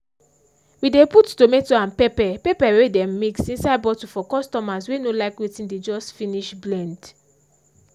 we dey put tomato and pepper pepper wey dem mix inside bottle for customers wey no like wetin dey just finish blend